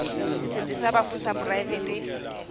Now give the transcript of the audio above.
setsheng sa bafu sa poraefete